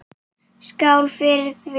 Skál fyrir því.